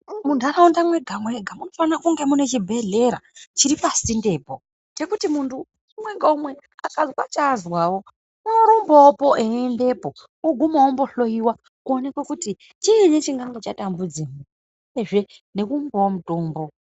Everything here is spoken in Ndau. Munharaunda mwega mwega munofanirwa kunge muine chibhedhleya chiri pasindepo pekuti munhu umwe ngaumwe akazwa chaazwawo unorumbawo eindepo eindohloyiwa kuonekwa kuti chiini chinenge chatambudza uyezve nekoopuwe mutombo.